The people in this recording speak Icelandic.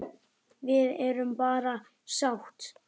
Við erum bara sáttir.